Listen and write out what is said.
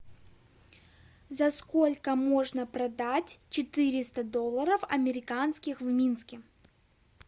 за сколько можно продать четыреста долларов американских в минске